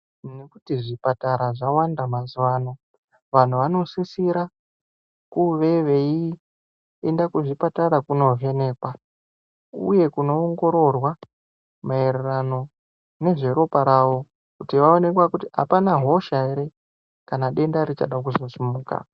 Nekuti zvipatara zvawanda mazuvano vanhu vanosisira kuve veienda kuzvipatara kunovhenekwa uye kunoongororwa maererano nezveropa ravo. Kuti vaonekwe kuti hapana hosha here kana denda richada kuzosimuka.